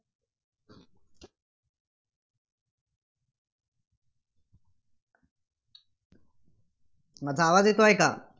माझा आवाज येतोय का?